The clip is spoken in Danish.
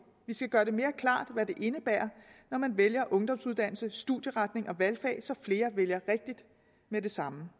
vi skal gøre det mere klart hvad det indebærer når man vælger ungdomsuddannelse studieretning og valgfag så flere vælger rigtigt med det samme